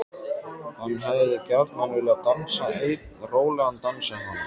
Hann hefði gjarnan viljað dansa einn rólegan dans við hana.